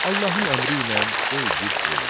Allahın əmri ilə o igid öldü.